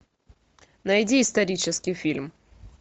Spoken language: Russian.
найди исторический фильм